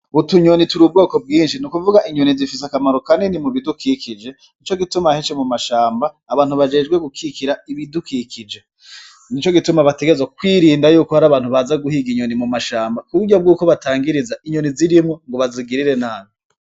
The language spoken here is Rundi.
Utunyoni turi ubwoko bwinshi n'ikuvuga inyoni zifise akamaro kanini mu bidukikije nico gituma henshi mu mashamba abantu bajejwe gukikira ibidukikije nico gituma bategerezwa kwirinda yuko hari abantu baza guhiga mu mashamba kuko hari abantu batangiriza kubereko hari abantu baza guhiga inyoni mu mashamba nkuko batangiriza inyoni zirimwo bazigirira nabi.